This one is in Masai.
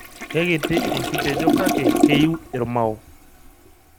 Kekiti enkitejo kake keiyu irmao.